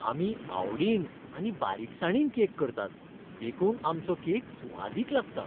आमी आवडीन आनी बारीकसाणीन केक करतात, देखून आमचो केक सुवादीक लागता.